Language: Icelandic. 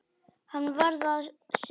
Hann varð að sinna því.